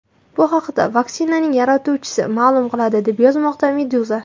Bu haqda vaksinaning yaratuvchisi ma’lum qildi, deb yozmoqda Meduza.